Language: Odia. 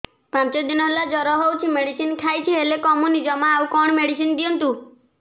ପାଞ୍ଚ ଦିନ ହେଲା ଜର ହଉଛି ମେଡିସିନ ଖାଇଛି ହେଲେ କମୁନି ଜମା ଆଉ କଣ ମେଡ଼ିସିନ ଦିଅନ୍ତୁ